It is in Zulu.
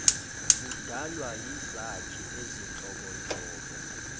udalwa yizakhi ezinhlobonhlobo